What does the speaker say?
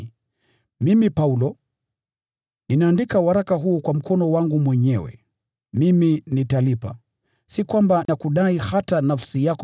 Ni mimi Paulo, ninayeandika waraka huu kwa mkono wangu mwenyewe. Nitakulipa. Sitaji kwamba nakudai hata nafsi yako.